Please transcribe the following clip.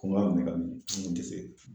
Komi a kun be ka n un te se